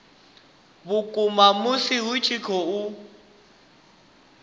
vhukuma musi hu tshi khou